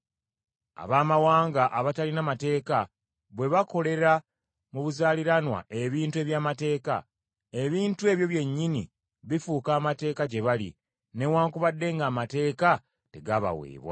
Abaamawanga abatalina mateeka bwe bakolera mu buzaaliranwa ebintu eby’Amateeka, ebintu ebyo byennyini bifuuka amateeka gye bali, newaakubadde ng’Amateeka tegaabaweebwa.